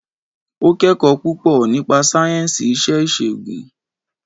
Ó kẹ́kọ̀ọ́ púpọ̀ nípa sáyẹ̀nsì iṣẹ́ ìṣègùn